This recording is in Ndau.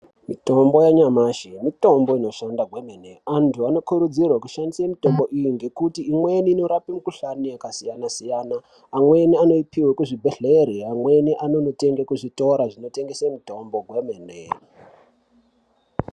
Mitombo yanyamashi mitombo inoshanda kwemene. Antu anokurudzirwa kushandise mitombo iyi ngekuti imweni inorapa mikuhlani yakasiyana siyana. Amweni anoipihwe kuzvibhedhlere amweni anoitenga kuzvitora zvinotengesa mitombo kwemene .